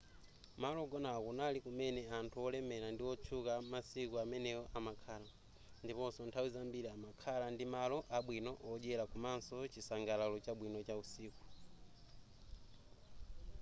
malo ogonawa kunali kumene anthu olemela ndi otchuka amasiku amenewo amakhala ndiponso nthawi zambiri amakhala ndi malo abwino odyela komanso chisangalalo chabwino cha usiku